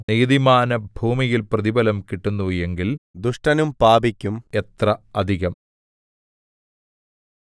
നീതിമാന് ഭൂമിയിൽ പ്രതിഫലം കിട്ടുന്നു എങ്കിൽ ദുഷ്ടനും പാപിക്കും എത്ര അധികം